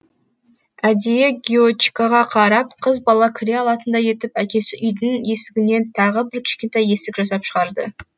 әдейі гиочикаға қарап қыз бала кіре алатындай етіп әкесі үйдің есігінен тағы бір кішкентай есік жасап шығарды